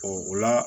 o la